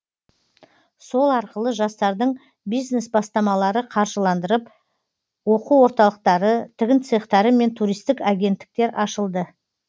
сол арқылы жастардың бизнес бастамалары қаржыландырылып оқу орталықтары тігін цехтары мен туристік агенттіктер ашылды